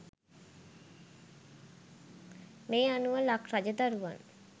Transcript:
මේ අනුව ලක් රජ දරුවන්